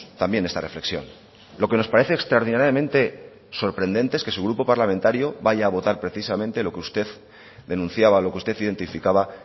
también esta reflexión lo que nos parece extraordinariamente sorprendente es que su grupo parlamentario vaya a votar precisamente lo que usted denunciaba lo que usted identificaba